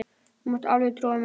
Þú mátt alveg trúa mér!